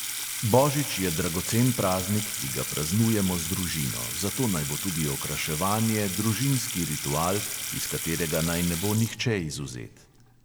Božič je dragocen praznik, ki ga praznujemo z družino, zato naj bo tudi okraševanje družinski ritual, iz katerega naj ne bo nihče izvzet.